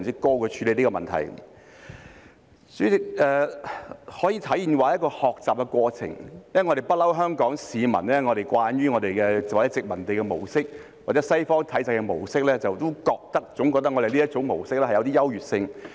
代理主席，這可說是一個學習的過程，因為香港市民慣於殖民地或西方體制的模式，總覺得這種模式有優越性。